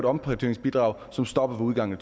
omprioriteringsbidrag som stopper ved udgangen af